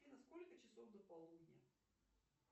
афина сколько часов до полудня